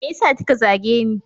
Meyasa kika zageni?